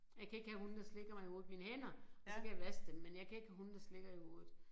Jeg kan ikke have hunde der slikker mig i hovedet mine hænder og så kan jeg vaske dem men jeg kan ikke have hunde der slikker i hovedet